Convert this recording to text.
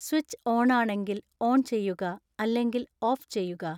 switch ഓണാണെങ്കിൽ on ചെയ്യുക അല്ലെങ്കിൽ ഓഫ് ചെയ്യുക